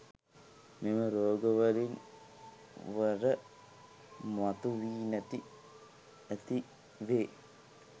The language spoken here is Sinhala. මෙම රෝග වරින් වර මතු වී නැති ඇති වේ.